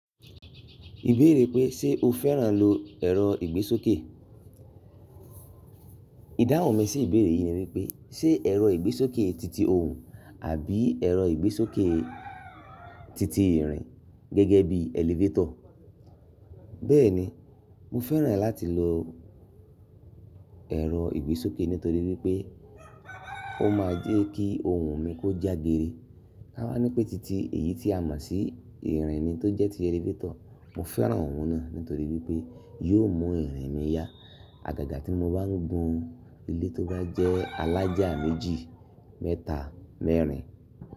Ìbéèrè pé ṣe o fẹ́ràn lo ẹ̀rọ ìgbésókè? Idáhun mi sí ìbéèrè yìí ni wípé ṣe ẹ̀rọ ìgbésókè titi òhún àbí ẹ̀rọ ìgbésókè titi ìrìn gẹ́gẹ́ bí elevator. Bẹ́ẹ̀ni, mo fẹ́ràn láti lo ẹ̀rọ ìgbésókè nítorí wípé ó máa ń jẹ́ kí òhún mi kó já geeré. Tá wá ní pé titi èyí tí a mọ̀ sí ìrìn ni tó jẹ́ tí elevator, mo fẹ́ràn òun náà nítorí wípé yóò mú ìrìn mi yá. Àgàgà tí mo bá ń gùn ilé tó bá jẹ́ alájá méjì, mẹ́ta, mẹ́rin.